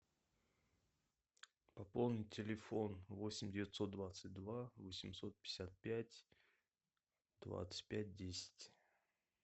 пополнить телефон восемь девятьсот двадцать два восемьсот пятьдесят пять двадцать пять десять